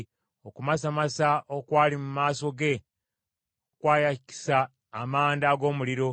Okumasamasa okwali mu maaso ge kwayakisa amanda ag’omuliro.